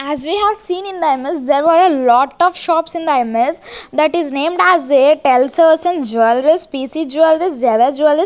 As we have seen in the imaze there were a lot of shops in the imaze that is named as a jewelleries PC jewelleries Zevar --